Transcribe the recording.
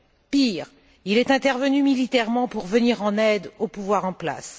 Pire, il est intervenu militairement pour venir en aide au pouvoir en place.